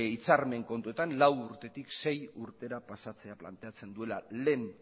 hitzarmen kontuetan lau urtetik sei urtera pasatzera planteatzen duela lehen